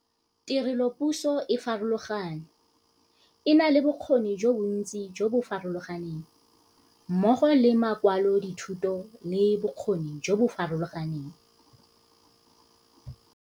Tirelopuso e farologane, e na le bokgoni jo bontsi jo bo farologaneng, mmogo le makwalodithuto le bokgoni jo bo farologaneng.